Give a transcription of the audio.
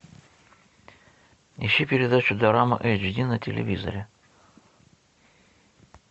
ищи передачу дорама эйч ди на телевизоре